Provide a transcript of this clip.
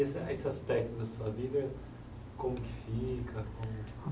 E essa esse aspecto da sua vida, como que fica? Como